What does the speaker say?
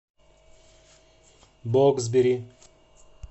боксбери